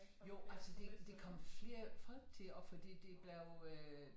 Jo altså der der kommet flere folk til og fordi det blevet øh